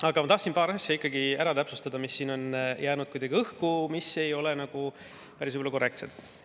Aga ma tahan ikkagi täpsustada paari asja, mis siin on jäänud kuidagi õhku ja mis ei ole päris korrektsed.